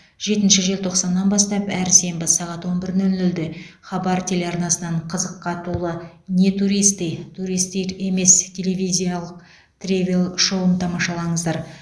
жетінші желтоқсаннан бастап әр сенбі сағат он бір нөл нөлде хабар телеарнасынан қызыққа толы не туристы турист емес телевизиялық тревел шоуын тамашалаңыздар